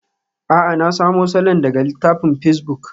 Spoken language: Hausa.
A'a, na samo salon daga littafin pacebuk.